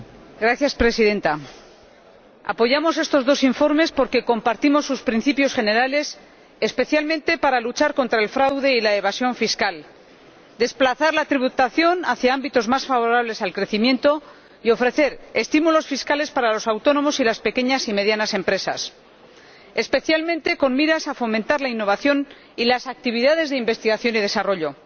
Señora Presidenta, apoyamos estos dos informes porque compartimos sus principios generales, especialmente para luchar contra el fraude y la evasión fiscal, desplazar la tributación hacia ámbitos más favorables al crecimiento y ofrecer estímulos fiscales para los autónomos y las pequeñas y medianas empresas, especialmente con miras a fomentar la innovación y las actividades de investigación y desarrollo.